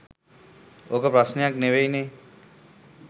ඕක ප්‍රශ්නයක් නෙවෙයි නෙ.